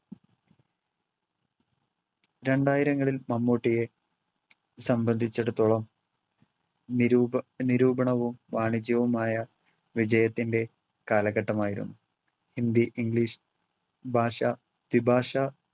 രണ്ടായിരങ്ങളിൽ മമ്മൂട്ടിയെ സംബന്ധിച്ചിടത്തോളം നിരൂപ~ നിരൂപണവും വാണിജ്യവുമായ വിജയത്തിൻറെ കാലഘട്ടമായിരുന്നു. ഹിന്ദി, ഇംഗ്ലീഷ് ഭാഷാ വിഭാഷാ